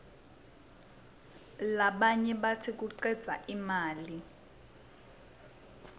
labanye batsi kucedza imali